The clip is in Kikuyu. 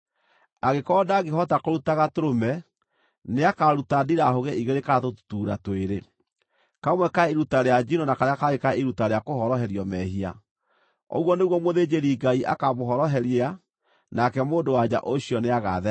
Angĩkorwo ndangĩhota kũruta gatũrũme, nĩakaruta ndirahũgĩ igĩrĩ kana tũtutuura twĩrĩ, kamwe ka iruta rĩa njino na karĩa kangĩ ka iruta rĩa kũhoroherio mehia. Ũguo nĩguo mũthĩnjĩri-Ngai akaamũhoroheria, nake mũndũ-wa-nja ũcio nĩagathera.’ ”